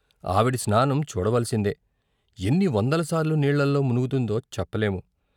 ఆవిడ స్నానం చూడవలసిందే ఎన్ని వందల సార్లు నీళ్ళలో మునుగుతుందో చెప్పలేము.